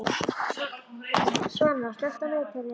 Svana, slökktu á niðurteljaranum.